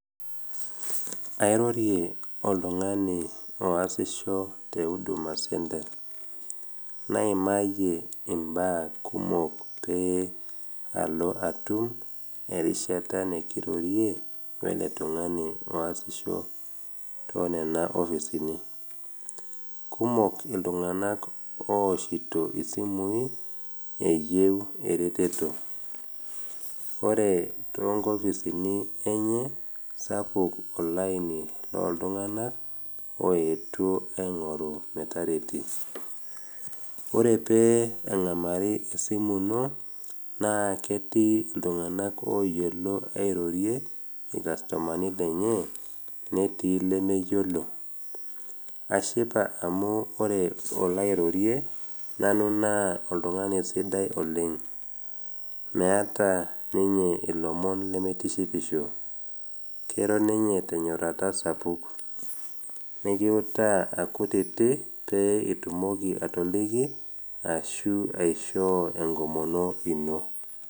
Airorie oltung’ani oasisho te Huduma Centre, naimayie imbaa kumok pee alo atum erishata nekirorie wele tung’ani oasisho too nena ofisini. Kumok iltung’ana ooshito isimui eyeu ereteto, ore toonkofisini enye, sapuk olaini loltung’ana oetuo aing’oru metareti. Ore pee eng’amarii esimu ino, naa ketii iltung’ana oyiolo airorie ilkastomani lenye netii lemeyiolo. Ashipa amu ore olairorie nanu naa oltung'ani sidai oleng, meata ninye ilomon lemeitishipo, keiro ninye tenyorrata sapuk, nekiutaa akutiti pee itumoki atoliki ashu aishoo enkomono ino.